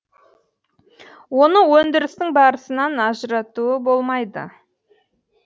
оны өндірістің барысынан ажыратуы болмайды